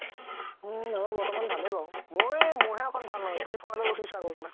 আমাৰ বৰ্তমান ভালে বাৰু মই মোৰ হে একমান ভাল নহয়